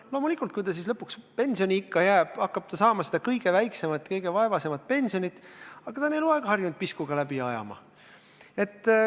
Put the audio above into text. Loomulikult, kui ta lõpuks pensioniikka jõuab, hakkab ta saama seda kõige väiksemat, kõige vaevasemat pensionit, aga ta on eluaeg harjunud piskuga läbi ajama.